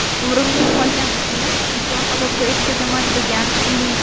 Umrimning qolgan qismini vijdon azobida o‘tkazaman”, degan Li.